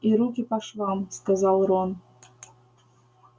и руки по швам сказал рон